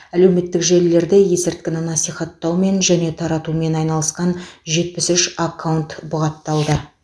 әлеуметтік желілерде есірткіні насихаттаумен және таратумен айналысқан жетпіс үш аккаунт бұғатталды